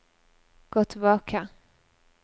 gå tilbake